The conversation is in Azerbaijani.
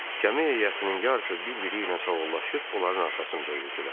Gəmi heyətinin yarısı bir-biri ilə sağollaşıb onların arxasınca üzdülər.